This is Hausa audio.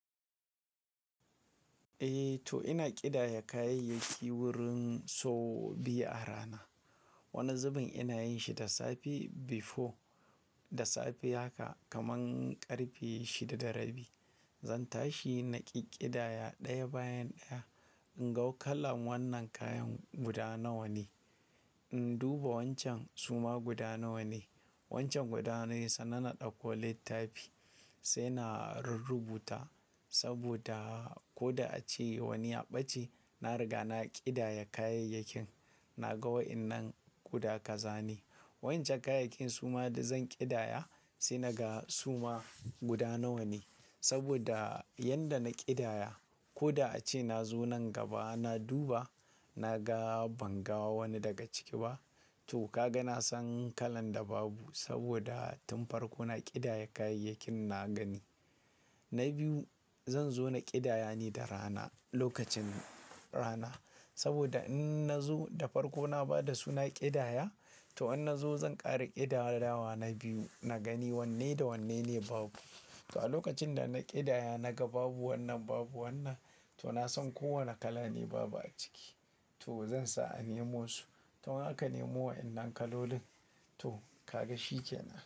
Eh to ina ƙidaya kayayyaki wurin so biyu a rana. Wani zubin ina yin shi da safe before, da safe haka kaman ƙarfe shida da rabi. Zan tashi na ƙi ƙidaya ɗaya bayan ɗaya. In ga kalan wannan kayan guda nawa ne, in duba wancan suma guda nawa ne. Wancan guda nawa sannan na ɗakko littafi sai na rurrubuta saboda ko da ace wani ya ɓace, na riga na ƙidaya kayayyakin. Na ga wa'yannan guda kazane. Wancan kayakin suma da zan ƙidaya sai naga suma guda nawa ne. Saboda yanda na ƙidaya ko da ace na zo nan gaba na duba, na ga ban ga wani daga ciki ba. To ka ga na san kalan da babu saboda tun farko na ƙidaya kayayyakin na gani. Na biyu zan zo na ƙidaya ne da rana, lokacin rana. Saboda in na zo da farko na bada suna ƙidaya to an na zo zan ƙara ƙidayawa na biyu. Na gani wanne da wanne ne babu. To a lokacin da na ƙidaya na ga babu wannan babu wannan to na san kowane kala ne babu a ciki to zan sa a nemo su. To haka nemo waɗannan kalolin to ka ga shi kenan.